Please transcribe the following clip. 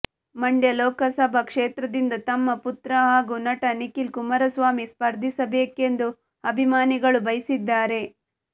ಮಂಡ್ಯ ಲೋಕಸಭಾ ಕ್ಷೇತ್ರದಿಂದ ತಮ್ಮ ಪುತ್ರ ಹಾಗೂ ನಟ ನಿಖಿಲ್ ಕುಮಾರಸ್ವಾಮಿ ಸ್ಪರ್ಧಿಸಬೇಕೆಂದು ಅಭಿಮಾನಿಗಳು ಬಯಸಿದ್ದಾರೆ